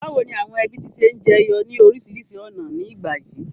Bàwoni àwon ẹbí ti se n jeyo ni orísìrísi ọ̀nà ni ìgbà yìí?